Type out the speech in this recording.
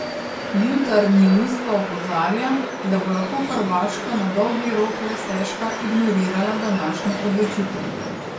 Jutarnji list pa opozarja, da bo lahko Hrvaška na dolgi rok le stežka ignorirala današnjo odločitev.